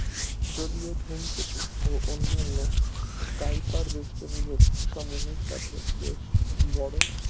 যদিও ধূমকেতু ও অন্যান্য কাইপার বেষ্টনী বস্তু সমূহ এর সাথে বেশ বড়